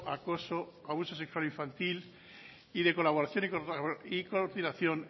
acoso abuso sexual infantil y de colaboración y coordinación